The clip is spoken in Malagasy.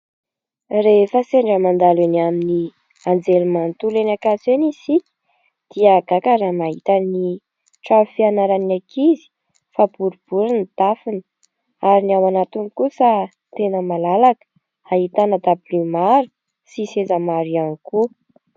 Rehefa sendra mandalo eny amin'ny anjery manontolo eny Ankatso eny isika, dia gaga raha mahita ny trano fianaran'ny ankizy fa boribory ny tafony, ary ny ao anagtiny kosa tena malalaka. Ahitana dablio maro sy seza maro ihany koa.